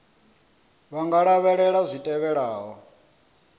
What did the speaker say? vha nga lavhelela zwi tevhelaho